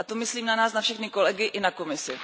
A to myslím na nás, na všechny kolegy i na Komisi.